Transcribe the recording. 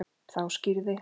Þá skýrði